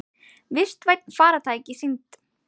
Vistvæn farartæki sýnd